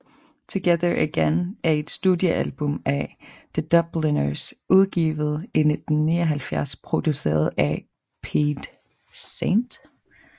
Together Again er et studiealbum af The Dubliners udgivet i 1979 produceret af Pete St